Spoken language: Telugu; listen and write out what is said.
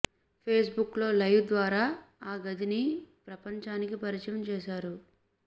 పేస్ బుక్ లో లైవ్ ద్వారా ఆ గదిని ప్రపంచానికి పరిచయం చేశారు